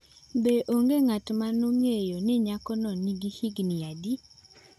Be onge ng’at ma nong’eyo ni nyakono nigi higni adi?